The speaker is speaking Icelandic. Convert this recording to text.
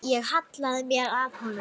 Ég hallaði mér að honum.